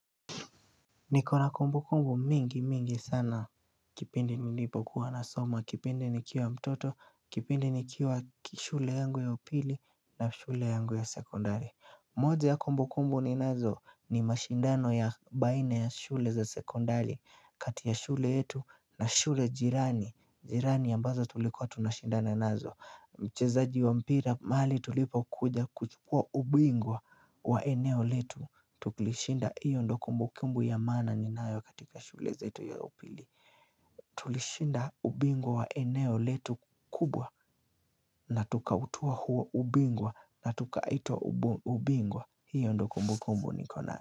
Niko na kumbukumbu mingi mingi sana kipindi nilipokuwa nasoma, kipindi nikiwa mtoto, kipindi nikiwa shule yangu ya upili na shule yangu ya sekondari moja ya kumbukumbu ninazo ni mashindano ya baina ya shule za sekondari kati ya shule yetu na shule jirani jirani ambazo tulikuwa tunashindana nazo mchezaji wa mpira mahali tulipo kuja kuchipua ubingwa wa eneo letu Tulishinda hiyo ndio kumbukumbu ya maana ninayo katika shule zetu ya upili Tulishinda ubingwa wa eneo letu kubwa na tukautwaa huo ubingwa na tukaitwa ubingwa hiyo ndiyo kumbukumbu niko nayo.